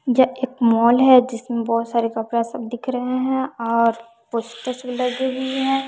यह एक मॉल है जिसमें बहुत सारे कपड़ा सब दिख रहे हैं और पोस्टर्स भी लगे हुए है।